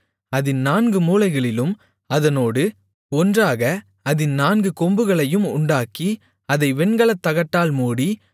அதின் நான்கு மூலைகளிலும் அதனோடு ஒன்றாக அதின் நான்கு கொம்புகளையும் உண்டாக்கி அதை வெண்கலத்தகட்டால் மூடி